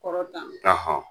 Kɔrɔ dan